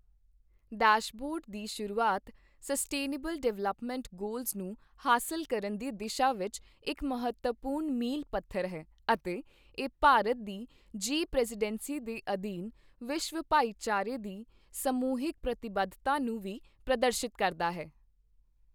Dashboard ਦੀ ਸ਼ੁਰੂਆਤ sustainable development goals ਨੂੰ ਹਾਸਲ ਕਰਨ ਦੀ ਦਿਸ਼ਾ ਵਿੱਚ ਇੱਕ ਮਹਤਵਪੂਰਨ ਮੀਲ ਪੱਥਰ ਹੈ ਅਤੇ ਇਹ ਭਾਰਤ ਦੀ ਜੀ ਪ੍ਰੈਜ਼ੀਡੈਂਸੀ ਦੇ ਅਧੀਨ ਵਿਸ਼ਵ ਭਾਈਚਾਰੇ ਦੀ ਸਮੂਹਿਕ ਪ੍ਰਤੀਬੱਧਤਾ ਨੂੰ ਵੀ ਪ੍ਰਦਰਸ਼ਿਤ ਕਰਦਾ ਹੈ।